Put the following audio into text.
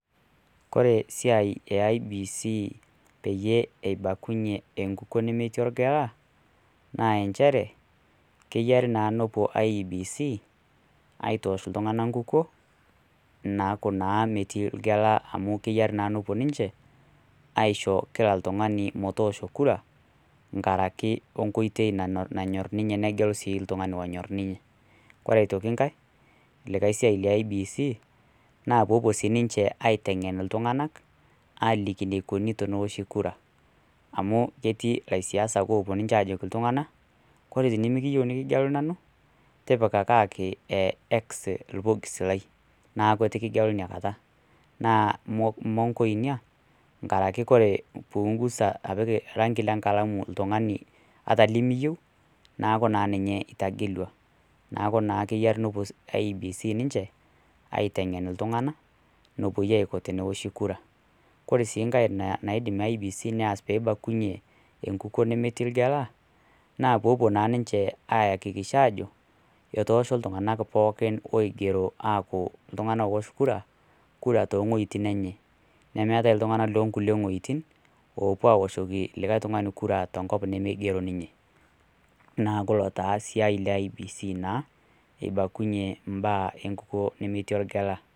Ore esiai e IEBC peyie eibalunyie enkukuo nemetii orgela naa inchere keyiari naa nepuo IEBC aitoosh iltung'anak nkunkuo naakuu naa metii orgela amu keyiari naa nepuo ninche aisho kila oltung'ani metoosho kura nkaraki nkoitoi nanyor ninye negelu sii iltung'ani onyor ninye ore aitoki ngae ,ae siai e IEBC naa poopuo sii ninche aiteng'en iltung'anak aaliki neikoni teneoshi kura aku ketii ilaisiasak oopuo ajoki kore tenemikiyieu nikigelu nanu tipikakaki X orbox lai naaku etu kigelu inakata naa mongo ina araki ore peeingusa rangi le nkalamu ata limiyieu neeku naa ninye itagelua neeeku na keyiari nepuo IEBC ninche aiteng'en iltung'anak enepuoi aiko tenewoshi kura ore sii ngae naidim IEBC ataas peei bakunyie enkukuo nemetii ergela naa poopuo naa ninche aayakikisha ajo otoosho iltung'anak pooki oigero aapuo ajo ore iltung'anak oowosh kura toowuejitin enye nemeetai iltung'anak loonkulie wuejitin oopuo awoshiki likae tung'ani kura tenkop nemeigero ninye neeku ilo taa siai e IEBC naa eibakunyie enkukuo nemetio oregela.